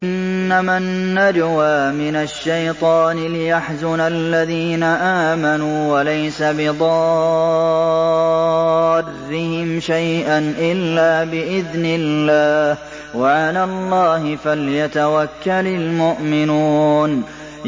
إِنَّمَا النَّجْوَىٰ مِنَ الشَّيْطَانِ لِيَحْزُنَ الَّذِينَ آمَنُوا وَلَيْسَ بِضَارِّهِمْ شَيْئًا إِلَّا بِإِذْنِ اللَّهِ ۚ وَعَلَى اللَّهِ فَلْيَتَوَكَّلِ الْمُؤْمِنُونَ